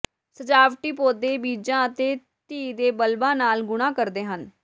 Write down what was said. ਸਜਾਵਟੀ ਪੌਦੇ ਬੀਜਾਂ ਅਤੇ ਧੀ ਦੇ ਬਲਬਾਂ ਨਾਲ ਗੁਣਾ ਕਰਦੇ ਹਨ